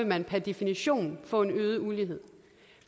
man per definition vil få en øget ulighed